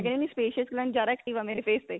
ਕਹਿ ਰਹੀ ਆ ਵੀ sebaceous glands ਜਿਆਦਾ active ਆ ਮੇਰੇ face ਤੇ